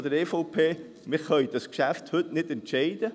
Wir können über dieses Geschäft heute nicht entscheiden.